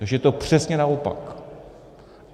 Takže je to přesně naopak!